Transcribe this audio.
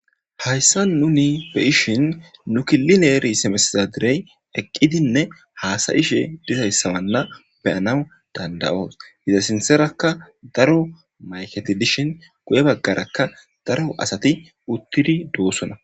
hayssa nuni be ishin nu kilileeri simesizadirey eqqidinne haasayishe dizayssamanla beyanaw dandayoos hiza sinserakka daro mayketi dishin guye baggarakka daro asati uttidi doossona.